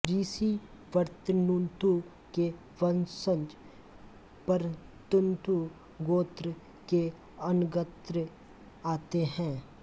ऋषि वरतन्तु के वंशज वरतन्तु गोत्र के अन्तर्गत आते हैं